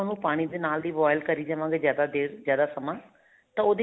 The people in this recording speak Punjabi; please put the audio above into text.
ਉਹ ਪਾਣੀ ਦੇ ਨਾਲ ਹੀ boil ਕਰੀ ਜਾਵਾਂਗੇ ਜਿਆਦਾ ਦੇਰ ਜਿਆਦਾ ਸਮਾਂ